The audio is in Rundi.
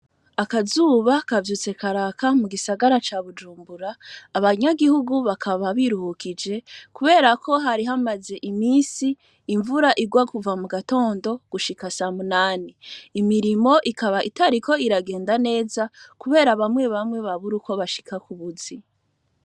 Akazuba kavyutse karaka mu gisagara ca Bujumbura. Abanyagihugu bakaba biruhukije kubera ko hari hamaze iminsi imvura igwa kuva mu gatondo gushika sa munani. Imirimo ikaba itariko iragenda neza kubera bamwe bamwe babura uko bashika ku buzi.